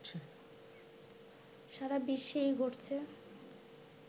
সারা বিশ্বেই ঘটছে